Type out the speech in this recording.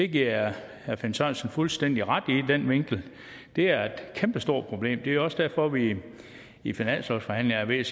giver jeg herre finn sørensen fuldstændig ret i det er et kæmpestort problem det er jo også derfor vi i finanslovsforhandlingerne er